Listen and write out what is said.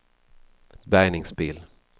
bärgningsbil